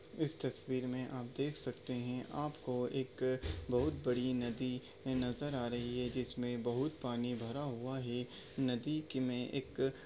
इस तस्वीर मे आप देख सकते हैं आपको एक बहुत बड़ी नदी नजर आ रही हैं जिसमे बहुत पानी भरा हुआ हैं। नदी की मै एक--